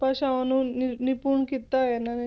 ਭਾਸ਼ਾਵਾਂ ਨੂੰ ਨ~ ਨਿਪੁੰਨ ਕੀਤਾ ਹੋਇਆ ਇਹਨਾਂ ਨੇ,